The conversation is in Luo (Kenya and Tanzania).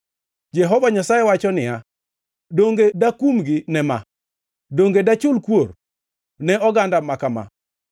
Jehova Nyasaye wacho niya, “Donge dakumgi ne ma? Donge dachul kuor ne oganda ma kama?”